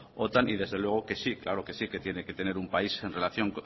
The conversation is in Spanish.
otan y desde luego que sí claro que sí tiene que tener un país en relación